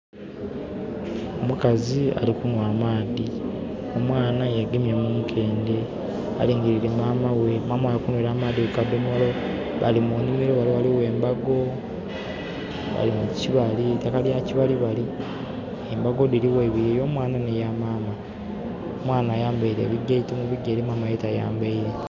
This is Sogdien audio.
Omukazi alikunhwa amaadhi. Omwaana yegemye munkendhe alingirile mama ghe. Maama ghe alikunhwera amadhi kukadhomolo. Bali munhimiro ghanho ghaligho embago. Bali mukibali eitaka lyakibalibali. Embago dhili gho iibiri eyomwanha ne ya mama. Omwanha ayambeire ebigeito mu bigere mama ye tayambeire.